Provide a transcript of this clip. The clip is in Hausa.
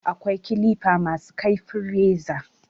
Akwai kilifa ma su kaifin reza